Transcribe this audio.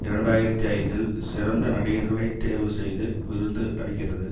இரண்டு ஆயிரத்தி ஐந்தில் சிறந்த நடிகர்களை தேர்வு செய்து விருந்து அளிக்கிறது